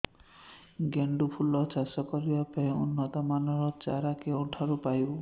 ଗେଣ୍ଡୁ ଫୁଲ ଚାଷ କରିବା ପାଇଁ ଉନ୍ନତ ମାନର ଚାରା କେଉଁଠାରୁ ପାଇବୁ